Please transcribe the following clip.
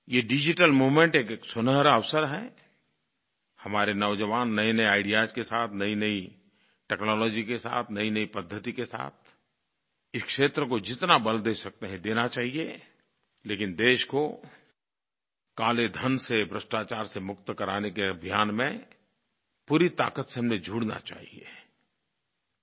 ये digital movement एक सुनहरा अवसर है हमारे नौजवान नयेनये आईडीईए के साथ नयीनयी टेक्नोलॉजी के साथ नयीनयी पद्धति के साथ इस क्षेत्र को जितना बल दे सकते हैं देना चाहिये लेकिन देश को काले धन से भ्रष्टाचार से मुक्त कराने के अभियान में पूरी ताक़त से हमें जुड़ना चाहिये